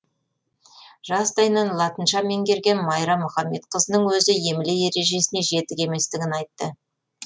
жастайынан латынша меңгерген майра мұхамедқызының өзі емле ережесіне жетік еместігін айтты